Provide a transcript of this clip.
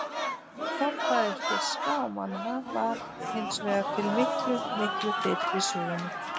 Forfaðir fiska og manna var hins vegar til miklu, miklu fyrr í sögunni.